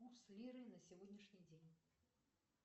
курс лиры на сегодняшний день